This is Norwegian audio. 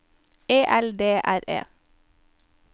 E L D R E